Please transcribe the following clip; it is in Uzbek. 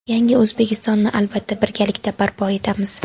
Yangi O‘zbekistonni albatta birgalikda barpo etamiz.